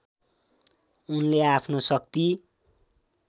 उसले आफ्नो शक्ति